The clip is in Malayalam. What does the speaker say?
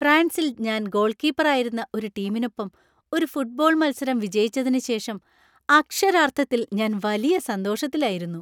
ഫ്രാൻസിൽ ഞാൻ ഗോൾകീപ്പറായിരുന്ന ഒരു ടീമിനൊപ്പം ഒരു ഫുട്ബോൾ മത്സരം വിജയിച്ചതിന് ശേഷം അക്ഷരാർത്ഥത്തിൽ ഞാൻ വലിയ സന്തോഷത്തിലായിരുന്നു.